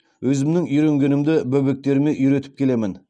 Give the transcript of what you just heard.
өзімнің үйренгенімді бөбектеріме үйретіп келемін